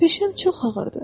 Peşəm çox ağırdır.